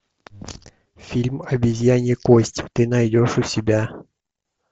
фильм обезьянья кость ты найдешь у себя